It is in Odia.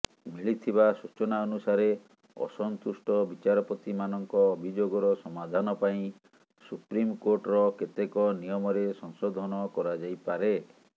ମିଳିଥିବା ସୂଚନା ଅନୁସାରେ ଅସନ୍ତୁଷ୍ଟ ବିଚାରପତିମାନଙ୍କ ଅଭିଯୋଗର ସମାଧାନ ପାଇଁ ସୁପ୍ରିମ କୋର୍ଟର କେତେକ ନିୟମରେ ସଂଶୋଧନ କରାଯାଇପାରେ